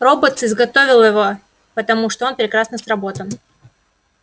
роботс изготовила его потому что он прекрасно сработан